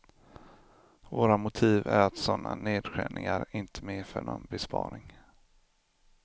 Våra motiv är att sådana nedskärningar inte medför någon besparing.